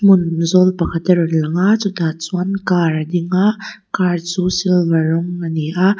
hmun zawl pakhat a rawn lang a chutah chuan car a dinga car chu silver rawng a ni a.